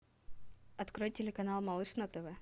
открой телеканал малыш на тв